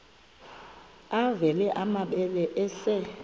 avela amabele esel